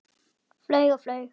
Flaug og flaug.